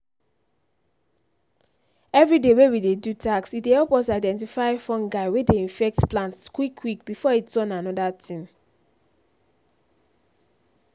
everyday wey we dey do tasks e dey help us identify fungi wey dey infect plants quick quick before e turn another thing